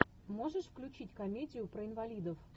можешь включить комедию про инвалидов